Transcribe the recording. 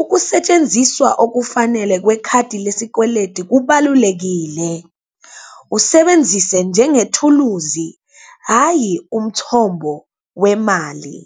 ukusentsenziswa okufanele kwekhadi lesikweleti kubalulekile. Usebenzise njengethuluzi hhayi, umthombo wemali.